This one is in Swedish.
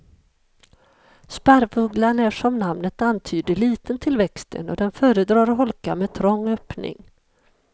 Sparvugglan är som namnet antyder liten till växten och den föredrar holkar med trång öppning.